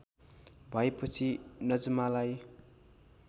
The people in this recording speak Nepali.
भएपछि नजमालाई